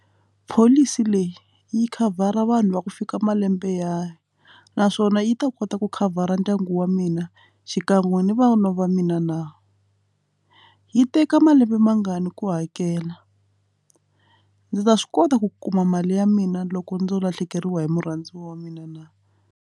Pholisi leyi yi khavhara vanhu va ku fika malembe ya naswona yi ta kota ku khavhara ndyangu wa mina xikan'we ni vantshwa va mina na yi teka malembe mangani ku hakela ndzi ta swi kota ku kuma mali ya mina loko ndzo lahlekeriwa hi murhandziwa wa mina na.